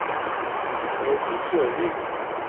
Borgny Søvik